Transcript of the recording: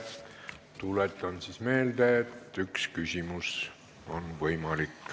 Tuletan meelde, et on võimalik esitada üks küsimus.